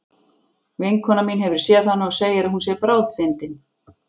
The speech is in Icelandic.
Vinkona mín hefur séð hana og segir að hún sé bráðfyndin.